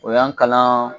O y'an kalan